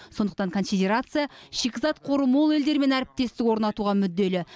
сондықтан конфедерация шикізат қоры мол елдермен әріптестік орнатуға мүдделі